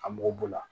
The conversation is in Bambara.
A mɔgɔ b'o la